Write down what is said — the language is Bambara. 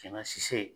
Kɛlɛ sise